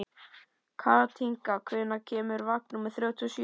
Kathinka, hvenær kemur vagn númer þrjátíu og sjö?